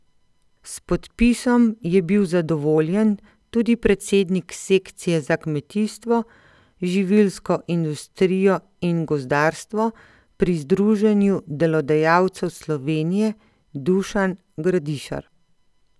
S podpisom je bil zadovoljen tudi predsednik sekcije za kmetijstvo, živilsko industrijo in gozdarstvo pri Združenju delodajalcev Slovenije Dušan Gradišar.